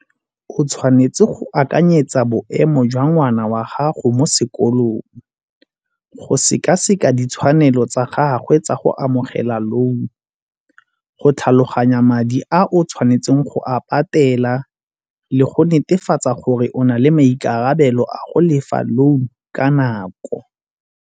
O tshwanetse go akanyetsa boemo jwa ngwana wa gago mo sekolong. Go sekaseka ditshwanelo tsa gagwe tsa go amogela loan-u, go tlhaloganya madi a o tshwanetseng go a patela le go netefatsa gore o na le maikarabelo a go lefa loan ka nako.